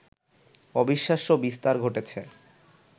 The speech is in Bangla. অবিশ্বাস্য বিস্তার ঘটেছে